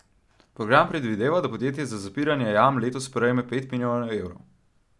Program predvideva, da podjetje za zapiranje jam letos prejme pet milijonov evrov.